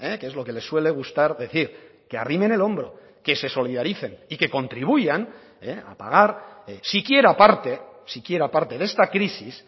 que es lo que le suele gustar decir que arrimen el hombro que se solidaricen y que contribuyan a pagar si quiera parte si quiera parte de esta crisis